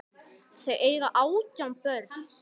Þau eiga átján börn.